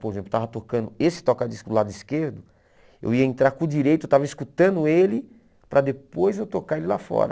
Por exemplo, eu estava tocando esse toca-disco do lado esquerdo, eu ia entrar com o direito, eu estava escutando ele, para depois eu tocar ele lá fora.